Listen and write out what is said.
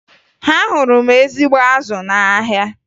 Ahụrụ m ezigbo azụ n'ahịa